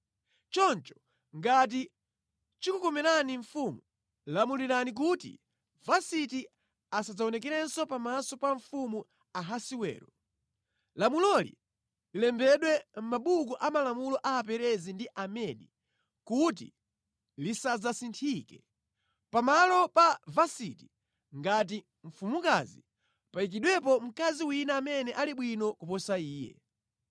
“Choncho, ngati chikukomerani mfumu, lamulirani kuti Vasiti asadzaonekerenso pamaso pa mfumu Ahasiwero. Lamuloli lilembedwe mʼmabuku a malamulo a Aperezi ndi Amedi kuti lisadzasinthike. Pamalo pa Vasiti ngati mfumukazi payikidwepo mkazi wina amene ali bwino kuposa iye.